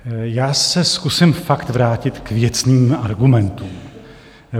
Já se zkusím fakt vrátit k věcným argumentům.